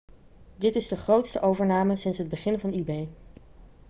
dit is de grootste overname sinds het begin van ebay